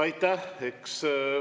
Aitäh!